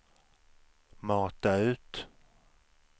mata ut